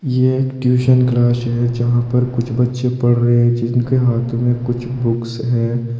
यह एक tuition class है जहां पर कुछ बच्चे पढ़ रहे हैं जिनके हाथ में कुछ बुक्स हैं।